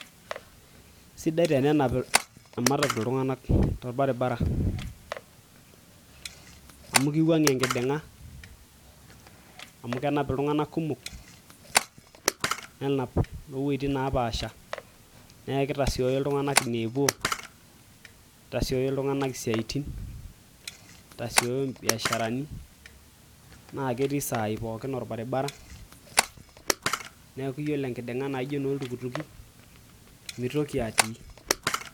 Sidai tenenap ematatu iltung'anak torbaribara amu keiwuang'ie enkiding'a amu kenap iltung'anak kumok nenap loowueitin naapasha neeku keitasiioyo iltung'anak ine neepuo neitasiooyo iltung'anak isiatin neitasiooyo imbiasharani naa ketii isaai pookin orbaribara neeku iyiolo enkidinga naijio enoo iltukutuki meitoki atii .